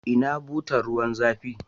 Ina butar ruwan zafi?